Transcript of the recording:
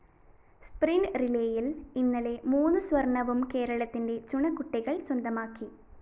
sprint റിലേയില്‍ ഇന്നലെ മൂന്ന് സ്വര്‍ണ്ണവും കേരളത്തിന്റെ ചുണക്കുട്ടികള്‍ സ്വന്തമാക്കി